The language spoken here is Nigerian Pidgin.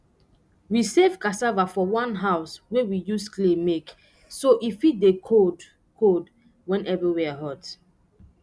we save cassava for one house wey we use clay make so e fit dey cold cold wen everywere hot